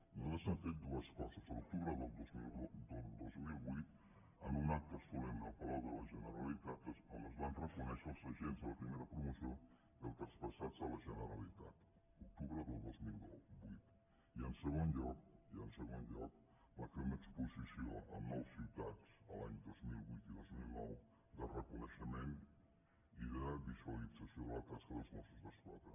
nosaltres hem fet dues coses a l’octubre del dos mil vuit un acte solemne al palau de la generalitat on es van reco·nèixer els agents de la primera promoció i els traspas·sats a la generalitat octubre del dos mil vuit i en segon lloc i en segon lloc vam fer una exposició en nou ciutats els anys dos mil vuit i dos mil nou de reconeixement i de visualitza·ció de la tasca dels mossos d’esquadra